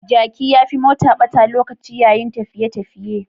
Jaki ya fi mota ɓata lokaci yayin tafiye-tafiye.